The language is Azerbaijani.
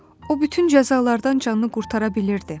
O bütün cəzalardan canını qurtara bilirdi.